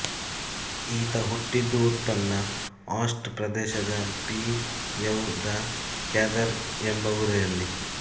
ಈತ ಹುಟ್ಟಿದ್ದು ಉನ್ನತ ಆಲ್ಟ್ಸ್ ಪ್ರದೇಶದ ಪಿಎವ್ ದ ಕ್ಯಾದರ್ ಎಂಬ ಊರಿನಲ್ಲಿ